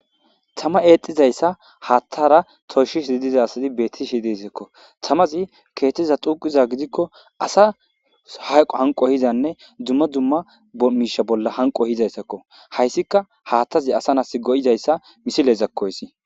Tamay eexidaysa haathara toysida asati beetishe de'esiko tamazi keethaza xuugiza gidiko asa hayqo hanqo duma duma miisha bolla hanqo ehidaysako haysika hathazi asa na'asi go'izaysa misileko haysi.